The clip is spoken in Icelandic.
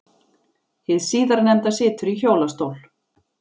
Hið síðarnefnda situr í hjólastól.